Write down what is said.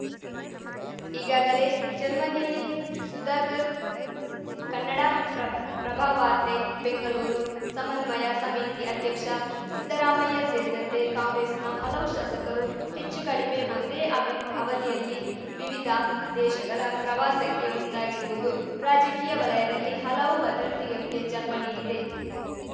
ಈಗಾಗಲೇ ಜರ್ಮನಿಯಲ್ಲಿ ಸುಧಾಕರ್‌ ಕನ್ನಡ ಪ್ರಭ್ ಪ್ರಭ ವಾರ್ತೆ ಬೆಂಗಲೂರು ಸಮನ್ವಯ ಸಮಿತಿ ಅಧ್ಯಕ್ಷ ಸಿದ್ದರಾಮಯ್ಯ ಸೇರಿದಂತೆ ಕಾಂಗ್ರೆಸ್‌ನ ಹಲವು ಶಾಸಕರು ಹೆಚ್ಚು ಕಡಿಮೆ ಒಂದೇ ಅಬಿ ಅವಧಿಯಲ್ಲಿ ವಿವಿಧ ದೇಶಗಲ ಪ್ರವಾಸಕ್ಕೆ ಮುಂದಾಗಿರುವುದು ರಾಜಕೀಯ ವಲಯದಲ್ಲಿ ಹಲವು ವದಂತಿಗಳಿಗೆ ಜನ್ಮ ನೀಡಿದೆ